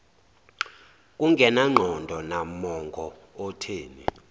kungenangqondo nammongo otheni